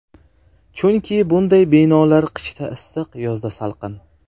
Chunki bunday binolar qishda issiq, yozda salqin.